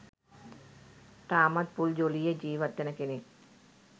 තාමත් ෆුල් ජොලියේ ජීවත් වෙන කෙනෙක්.